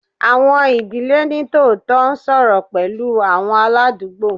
Awọn idile nitootọ n sọrọ pẹlu awọn aladugbo